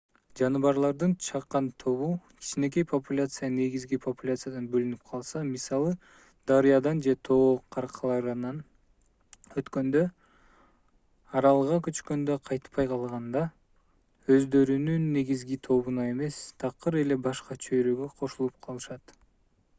жаныбарлардын чакан тобу кичинекей популяция негизги популяциядан бөлүнүп калса мисалы дарыядан же тоо кыркаларынан өткөндө аралга көчкөндө кайтпай калганда өздөрүнүн негизги тобуна эмес такыр эле башка чөйрөгө кошулуп калышат